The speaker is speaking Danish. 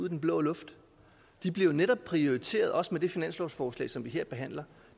i den blå luft de bliver jo netop prioriteret også med det finanslovsforslag som vi her behandler